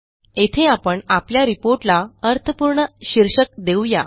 येथे आपण आपल्या रिपोर्ट ला अर्थपूर्ण शीर्षक देऊ या